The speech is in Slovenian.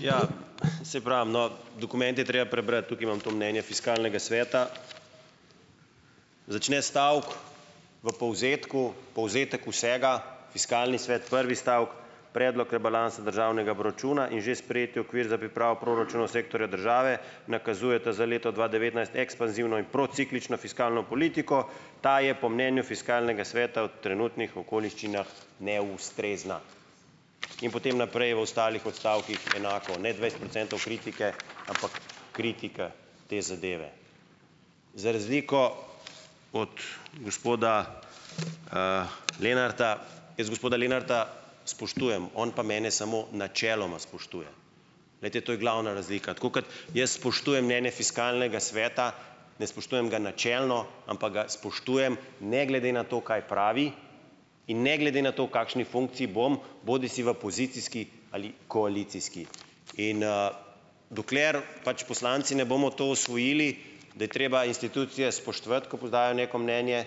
Ja, saj pravim, no, dokument je treba prebrati. Tukaj imam to mnenje Fiskalnega sveta. Začne stavek v povzetku, povzetek vsega, Fiskalni svet, prvi stavek: "Predlog rebalansa državnega proračuna in že sprejeti okvir za pripravo proračuna sektorja države nakazujeta za leto dva devetnajst ekspanzivno in prociklično fiskalno politiko. Ta je po mnenju Fiskalnega sveta v trenutnih okoliščinah neustrezna." In potem naprej v ostalih odstavkih enako, ne dvajset procentov kritike, ampak kritika te zadeve. Za razliko od gospoda, Lenarta jaz gospoda Lenarta spoštujem, on pa mene samo načeloma spoštuje. Glejte, to je glavna razlika. Tako kot jaz spoštujem mnenje Fiskalnega sveta, ne spoštujem ga načelno, ampak ga spoštujem ne glede na to, kaj pravi, in ne glede na to, v kakšni funkciji bom, bodisi v pozicijski ali koalicijski. In, dokler pač poslanci ne bomo to osvojili, da je treba institucije spoštovati, ko podajajo neko mnenje,